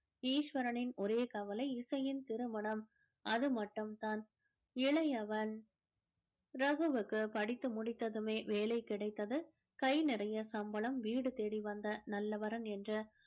ஈஸ்வரனின் ஒரே கவலை இசையின் திருமணம் அது மட்டும் தான் இளையவன் ரகுவிற்கு படித்து முடித்ததுமே வேலை கிடைத்து கை நிறைய சம்பளம் வீடு தேடி வந்த நல்ல வரன் என்று